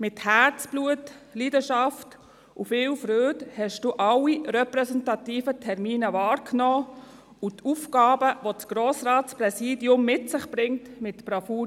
Mit Herzblut, Leidenschaft und viel Freude nahmen Sie alle repräsentativen Termine wahr und erfüllten die Aufgaben, welche das Grossratspräsidium mit sich bringt, mit Bravour.